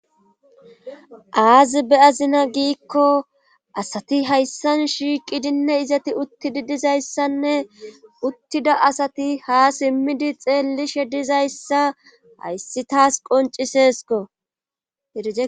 Aazi be azina giikko asati hayssan shiiqidinne izati uttidi dizayssanne uttida asati ha simmidi xeellishe dizayssa hayssi taas qoncisesko.